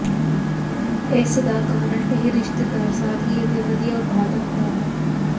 ਇਸ ਦਾ ਕਾਰਨ ਇਹ ਰਿਸ਼ਤੇਦਾਰ ਸਾਦਗੀ ਅਤੇ ਵਧੀਆ ਉਤਪਾਦਕਤਾ ਹੈ